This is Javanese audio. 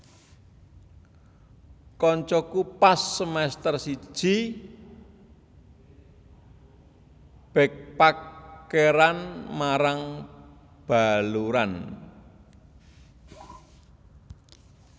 Koncoku pas semester siji backpackeran marang Baluran